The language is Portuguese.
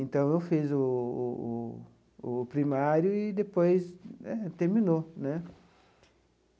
Então eu fiz o o o o primário e depois terminou né.